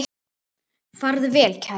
Farðu vel, kæri.